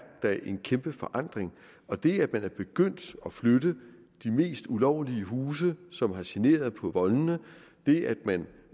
da en kæmpe forandring og det at man er begyndt at flytte de mest ulovlige huse som har generet på voldene det at man